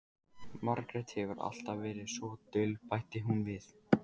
Margrét hefur alltaf verið svo dul, bætti hún við.